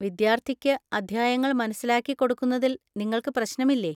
വിദ്യാർത്ഥിക്ക് അധ്യായങ്ങൾ മനസ്സിലാക്കിക്കൊടുക്കുന്നതിൽ നിങ്ങൾക്ക് പ്രശ്‌നമില്ലേ?